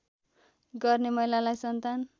गर्ने महिलालाई सन्तान